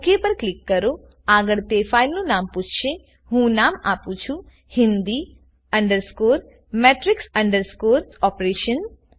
okay પર click કરોઆગળ તે ફાઈલ નામ માટે પૂછશેહું ફાઈલ નામ આપું છુ હિંદી matrix ઓપરેશન